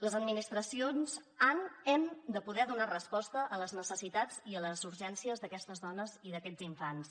les administracions han hem de poder donar resposta a les necessitats i a les urgències d’aquestes dones i d’aquests infants